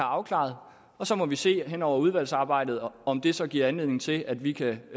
afklaret og så må vi se hen over udvalgsarbejdet om om det så giver anledning til at vi kan